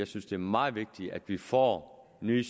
synes det er meget vigtigt at vi får nye